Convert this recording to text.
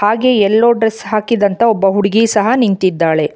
ಹಾಗೆ yellow dress ಹಾಕಿದಂತ ಒಬ್ಬ ಹುಡುಗಿ ಸಹ ನಿಂತಿದ್ದಾಳೆ.